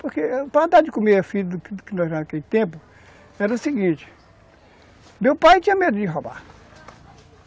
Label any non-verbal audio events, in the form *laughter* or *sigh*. Porque, para dar de comer a filha do *unintelligible* naquele tempo, era o seguinte, meu pai tinha medo de roubar.